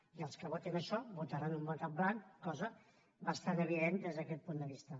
i els que votin això votaran un vot en blanc cosa bastant evident des d’aquest punt de vista